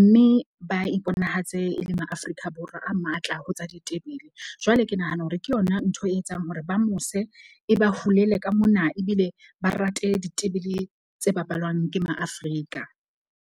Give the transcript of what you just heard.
Mme ba iponahatse e le ma-Afrika Borwa a matla ho tsa ditebele. Jwale ke nahana hore ke yona ntho e etsang hore ba mose e ba hulele ka mona, ebile ba rate ditebele tse bapalwang ke Ma-Afrika.